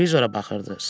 Televizora baxırdı.